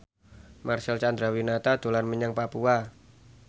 Marcel Chandrawinata dolan menyang Papua